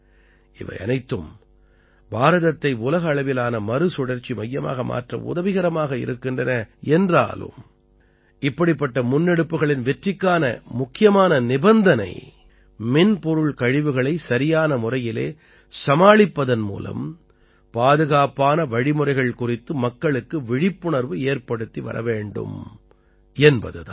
இவையனைத்தும் பாரதத்தை உலக அளவிலான மறுசுழற்சி மையமாக மாற்ற உதவிகரமாக இருக்கின்றன என்றாலும் இப்படிப்பட்ட முன்னெடுப்புக்களின் வெற்றிக்கான முக்கியமான நிபந்தனை மின் பொருள் கழிவுகளைச் சரியான முறையிலே சமாளிப்பதன் மூலம் பாதுகாப்பான வழிமுறைகள் குறித்து மக்களுக்கு விழிப்புணர்வு ஏற்படுத்தி வர வேண்டும் என்பது தான்